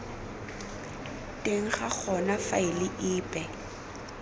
teng ga gona faele epe